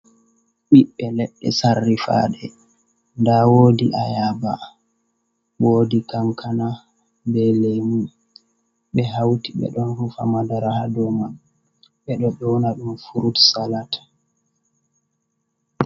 ɓiɓbe ledde sarrifade ,da wodi ayaba ,wodi kankana ,be lemu , be hauti be don rufa madara ha do man, be do nyona dum frut salat.